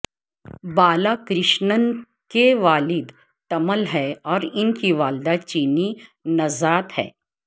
بالاکرشنن کے والد تمل ہیں اور ان کی والدہ چینی نژاد ہیں